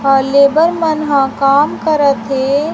अ labour मन हं काम कर थे।